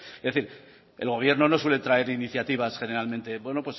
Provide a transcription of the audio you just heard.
es decir el gobierno no suele traer iniciativas generalmente bueno